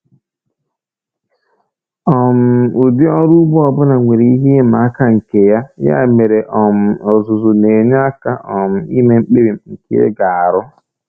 um Ụdị ọrụ ugbo ọ bụla nwere ihe ịma aka nke ya, ya mere um ọzụzụ na-enye aka um ime mkpebi nke ị ga-arụ